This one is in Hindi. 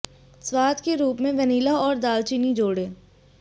स्वाद के रूप में वेनिला और दालचीनी जोड़ें